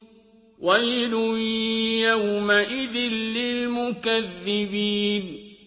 وَيْلٌ يَوْمَئِذٍ لِّلْمُكَذِّبِينَ